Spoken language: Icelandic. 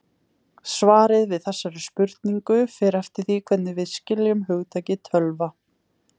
Svarið við þessari spurningu fer eftir því hvernig við skiljum hugtakið tölva.